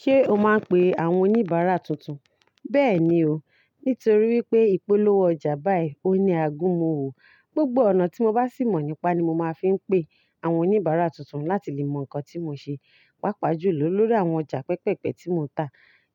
Ṣé o máa ń pe àwọn oníbàárà tuntun? Bẹ́ẹ̀ni o, nítorí wípé ìpolówó ọjà báyì òuní agúnmu owò. Gbogbo ọ̀nà tí mo bá sì mọ̀ nípa ni mo máa ń fi pé àwọn oníbàárà tuntun láti lè mọ ǹkan tí mo ṣe. Páapá jù lọ lórí àwọn ọjà pẹpẹpẹ̀ tí mo ń tà